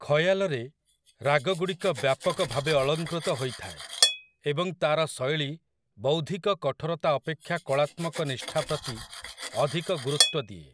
ଖୟାଲରେ, ରାଗଗୁଡ଼ିକ ବ୍ୟାପକ ଭାବେ ଅଳଙ୍କୃତ ହୋଇଥାଏ, ଏବଂ ତା'ର ଶୈଳୀ ବୌଦ୍ଧିକ କଠୋରତା ଅପେକ୍ଷା କଳାତ୍ମକ ନିଷ୍ଠା ପ୍ରତି ଅଧିକ ଗୁରୁତ୍ୱ ଦିଏ ।